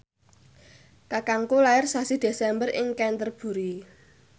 kakangku lair sasi Desember ing Canterbury